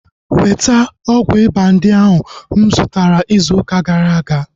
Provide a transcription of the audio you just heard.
Weta ọgwụ ịba ndị ahu mụ zụtara izu ụka gara aga!